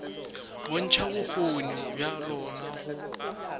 bontšha bokgoni bja lona go